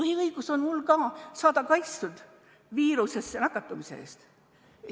Ka mul on põhiõigus – saada kaitstud viirusesse nakatumise eest.